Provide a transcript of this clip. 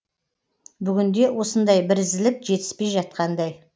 бүгінде осындай бірізділік жетіспей жатқандай